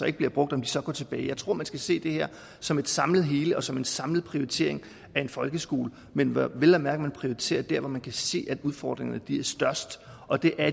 ikke bliver brugt så går tilbage jeg tror man skal se det her som et samlet hele og som en samlet prioritering af en folkeskole men hvor man vel at mærke prioriterer der hvor man kan se udfordringerne er størst og det er